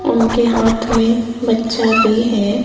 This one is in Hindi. उनके हाथ में बच्चा भी है।